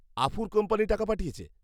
আফুর company টাকা পাঠিয়েছে।